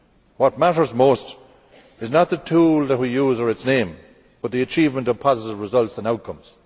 What matters most is not the tool that we use or its name, but the achievement of positive results and outcomes.